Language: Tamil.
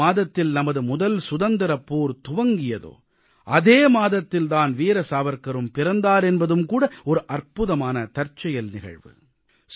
எந்த மாதத்தில் நமது முதல் சுதந்திரப் போர் துவங்கியதோ அதே மாதத்தில் தான் வீர சாவர்க்காரும் பிறந்தார் என்பதும்கூட ஒரு அற்புதமான தற்செயல் நிகழ்வு